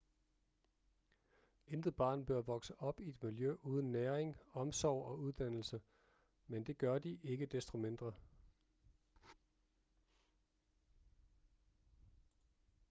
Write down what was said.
intet barn bør vokse op i et miljø uden næring omsorg og uddannelse men det gør de ikke desto mindre